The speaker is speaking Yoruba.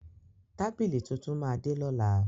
Tábílì tuntun máa de lọ́la.